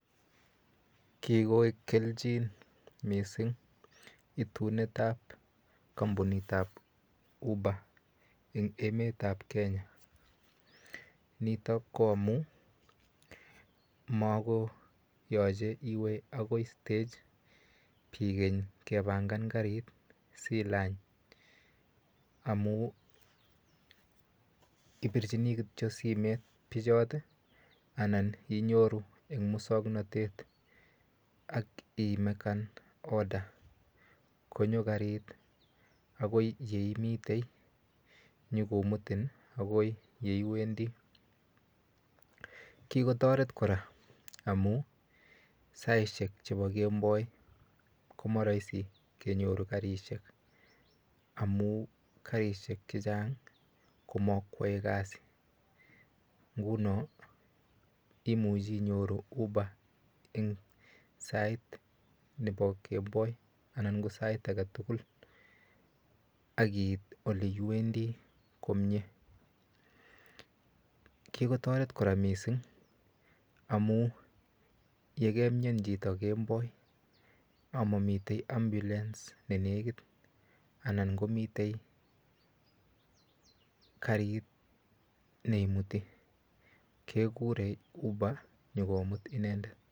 Kikoek kelchin missing' itunet ap kampunit ap Uber en emet ap Kenya. Nitok ko amu mako yache iwe akoi stage iwe kepangan karit asiilany amu ipirchini kityo simet pichot anan inyoru en muswoknotet ak imekan order konyo karit akoi ye imitei nyukomutin akoi ye iwendi. Kikotaret kora amu saishek chepo kemboi ko ma raisi kenyoru karishek amu karishek che chang' ko makoyae kasi. Nhuno imuchi inyoru uber eng' sait nepo kemboi anan ko sait age tugul akiit ole iwendi komye. Kikotaret kora missing' amu ye kemiani chito kemboi ama mitei ambulance ne nekit anan ko mitei karit ne imuti. Kekure uber nyu komut inendet.